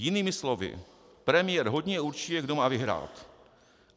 Jinými slovy, premiér hodně určuje, kdo má vyhrát.